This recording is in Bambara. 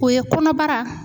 O ye kɔnɔbara